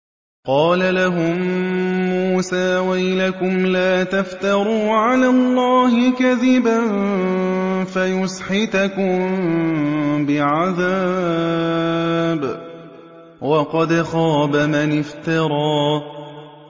قَالَ لَهُم مُّوسَىٰ وَيْلَكُمْ لَا تَفْتَرُوا عَلَى اللَّهِ كَذِبًا فَيُسْحِتَكُم بِعَذَابٍ ۖ وَقَدْ خَابَ مَنِ افْتَرَىٰ